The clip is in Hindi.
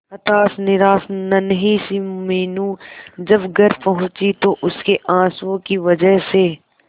हताश निराश नन्ही सी मीनू जब घर पहुंची तो उसके आंसुओं की वजह से